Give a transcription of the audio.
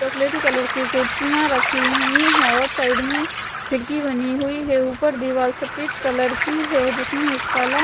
चॉकलेटी कलर की कुर्सियाँ रखी हुई हैं और साइड में खिड़की बनी हुई है ऊपर दीवाल सफ़ेद कलर की है जिसमें एक काला--